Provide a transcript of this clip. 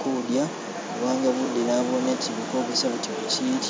kudya kubanga bude nabooneti buli kogesa buti buchili